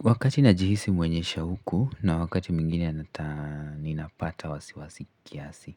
Wakati najihisi mwenye shauku na wakati mwengine ninapata wasiwasi kiasi.